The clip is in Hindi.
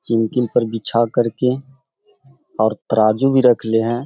चिम्किल पे बीछा करके और तराजू भी रख ले हैं।